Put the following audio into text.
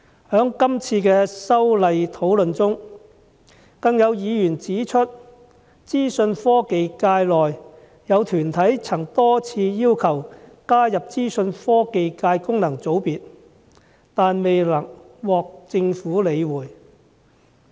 在這次修例的討論中，有議員指出，有資訊科技界團體多次要求加入資訊科技界功能界別，但未獲政府理會。